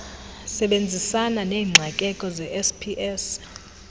sebenzisana neengxakeko zesps